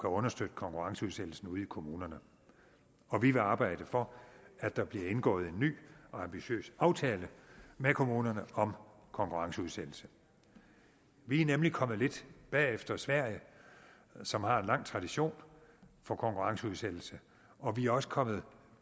understøtte konkurrenceudsættelsen ude i kommunerne og vi vil arbejde for at der bliver indgået en ny og ambitiøs aftale med kommunerne om konkurrenceudsættelse vi er nemlig kommet lidt bag efter sverige som har en lang tradition for konkurrenceudsættelse og vi er også kommet